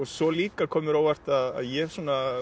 svo líka kom mér á óvart að ég svona